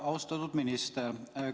Austatud minister!